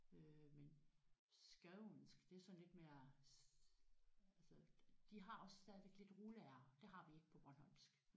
Øh men skånsk det er sådan lidt mere altså de har også stadigvæk lidt rulle R det har vi ikke på bornholmsk